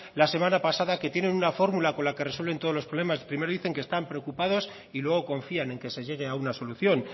la semana pasada que tienen una fórmula con la que resuelven todos los problemas primero dicen que están preocupados y luego confían en que se llegue a una solución